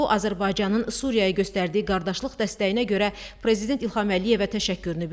O Azərbaycanın Suriyaya göstərdiyi qardaşlıq dəstəyinə görə Prezident İlham Əliyevə təşəkkürünü bildirdi.